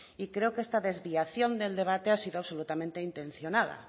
y creo que esta desviación del debate ha sido absolutamente intencionada